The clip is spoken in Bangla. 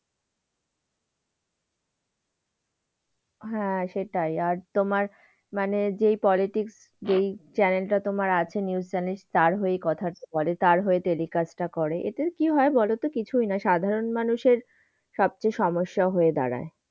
হ্যাঁ সেটাই, আর তোমার মানে যেই politics যেই channel টা তোমার আছে news channel তার হয়েই কথা বলে, তার হয়েই telecast টা করে, এতে কি হয় বলতো কিছুই নয়, সাধারণ মানুষের সবচেয়ে সমস্যা হয়ে দাঁড়ায়।